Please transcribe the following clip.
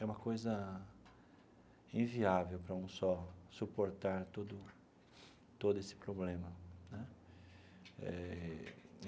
É uma coisa inviável para um só suportar todo todo esse problema né eh.